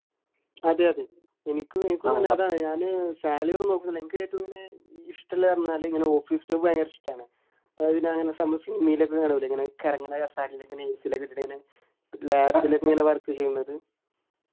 അതെ അതെ എനിക്ക് എനിക്ക് അതാണ് ഞാന് salary നോക്കുന്നില്ല എനിക്ക് ഏറ്റവും അങ്ങനെ ഇഷ്ടമുള്ള എന്ന് പറഞ്ഞാൽ ഇങ്ങനെ office ൽ ഭയങ്കര ഇഷ്ടമാണ് അതായത് അങ്ങനെ നമ്മള് cinema യില് ഒക്കെ കാണൂലെ ഇങ്ങനെ കറങ്ങണ കസേരയിൽ ഇങ്ങനെ AC എല്ലാം ഇട്ടിട്ട് ഇങ്ങനെ lap ൽഒക്കെ ഇങ്ങനെ work ചെയ്യുന്നത്